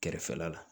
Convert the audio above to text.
Kɛrɛfɛla la